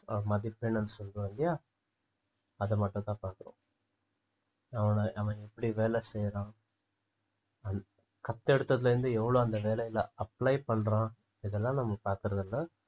அஹ் மதிப்பெண்ன்னு சொல்றோம் இல்லையா அத மட்டும்தான் பாக்குறோம் அவன அவன் எப்படி வேலை செய்யறான் எடுத்ததுல இருந்து எவ்வளவு அந்த வேலையில apply பண்றான் இதெல்லாம் நம்ம பார்க்கிறதில்லை